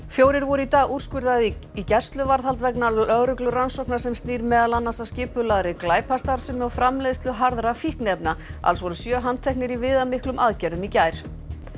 fjórir voru í dag úrskurðaðir í gæsluvarðhald vegna lögreglurannsóknar sem snýr meðal annars að skipulagðri glæpastarfsemi og framleiðslu harðra fíkniefna alls voru sjö handteknir í viðamiklum aðgerðum í gær